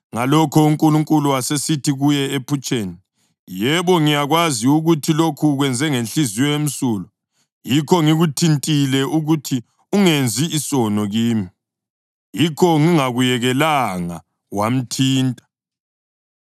Ngalokho uNkulunkulu wasesithi kuye ephutsheni, “Yebo, ngiyakwazi ukuthi lokhu ukwenze ngenhliziyo emsulwa, yikho ngikuthintile ukuthi ungenzi isono kimi. Yikho ngingakuyekelanga wamthinta.